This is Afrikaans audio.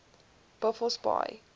buffelsbaai